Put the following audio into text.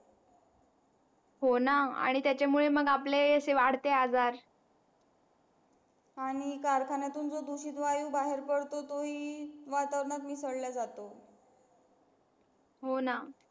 हो ना आणि त्याच्या मुळे मग आपले ते वाढते आजार आणि कारखान्यातील जो दूषित वायु बाहेर पडतो तो ही वातावरणात मिसळला जातो हो ना